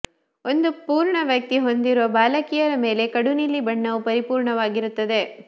ಒಂದು ಪೂರ್ಣ ವ್ಯಕ್ತಿ ಹೊಂದಿರುವ ಬಾಲಕಿಯರ ಮೇಲೆ ಕಡು ನೀಲಿ ಬಣ್ಣವು ಪರಿಪೂರ್ಣವಾಗಿರುತ್ತದೆ